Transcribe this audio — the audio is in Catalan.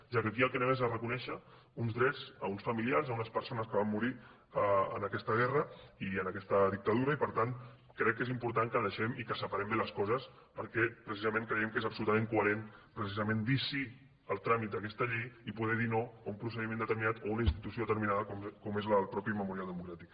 ja que aquí el que anem és a reconèixer uns drets a uns familiars a unes persones que van morir en aquesta guerra i en aquesta dictadura i per tant crec que és important que deixem i que separem bé les coses perquè precisament creiem que és absolutament coherent precisament dir sí al tràmit d’aquesta llei i poder dir no a un procediment determinat o a una institució determinada com és el mateix memorial democràtic